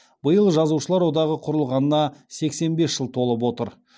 биыл жазушылар одағы құрылғанына сексен бес жыл толып отыр